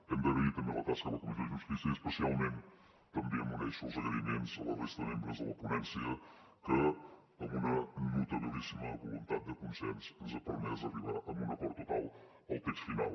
hem d’agrair també la tasca de la comissió de justícia i especialment també m’uneixo als agraïments a la resta de membres de la ponència que amb una notabilíssima voluntat de consens ens ha permès arribar a un acord total al text final